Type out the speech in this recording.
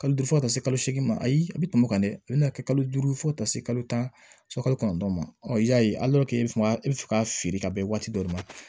Kalo duuru fɔ ka taa se kalo segin ma ayi a bɛ tɛmɛ o kan dɛ i bɛ n'a kɛ kalo duuru fo ka taa se kalo tan ni kɔnɔntɔn ma i y'a ye i bɛ se ka e bɛ fɛ ka feere ka bɛn waati dɔ de ma